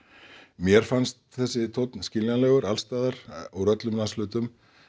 mér fannst þessi tónn skiljanlegur alls staðar úr öllum landshlutum